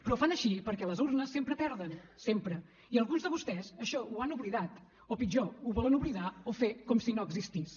però ho fan així perquè a les urnes sempre perden sempre i alguns de vostès això ho han oblidat o pitjor ho volen oblidar o fer com si no existís